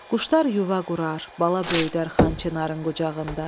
Quşlar yuva qurar, bala böyüdər Xan Çinarın qucağında.